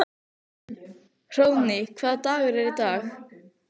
Hróðný, hvaða dagur er í dag?